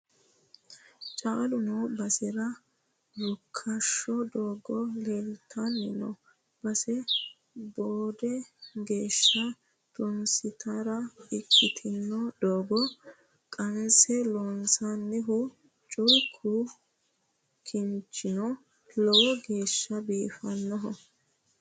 Caalu noo basera rukkasho doogo leelittanni no base boode geeshsha tunsittara ikkitino doohote qanse loonsonnihu culku kinchino lowo geeshsha biifanoho.